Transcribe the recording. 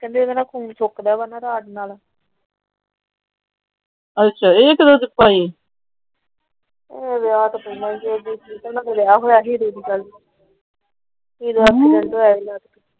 ਉਹ ਕਰਦੇ ਆਈ ਲੇਟ੍ਸ ।